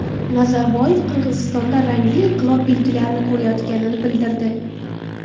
Nazarboyev Qozog‘istonda rangli inqilob belgilarini ko‘rayotganini bildirdi.